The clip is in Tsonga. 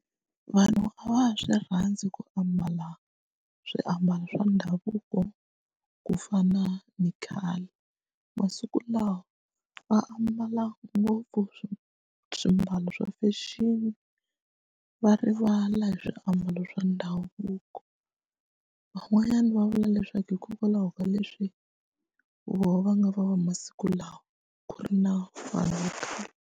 Vanhu a va ha swi rhandzi ku ambala swiambalo swa ndhavuko ku fana ni khale masiku lawa va ambala ngopfu swo swimbalo swa fexeni va rivala hi swiambalo swa ndhavuko van'wanyana va vula leswaku hikokwalaho ka leswi voho va nga va va masiku lawa ku ri na vanhu va khale.